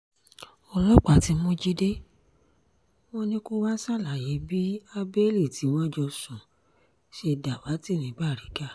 ọlọ́pàá ti mú jíde wọn ni kó wàá ṣàlàyé bí habeli tí wọ́n jọ sùn ṣe dàwátì ní baríga